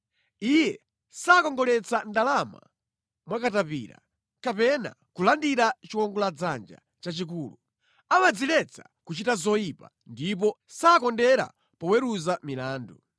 Iye sakongoletsa ndalama mwa katapira, kapena kulandira chiwongoladzanja chachikulu. Amadziletsa kuchita zoyipa ndipo sakondera poweruza milandu.